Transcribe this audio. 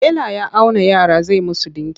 Tela ya auna yara zai musu ɗinki.